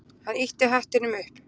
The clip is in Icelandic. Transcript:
Hann ýtti hattinum upp.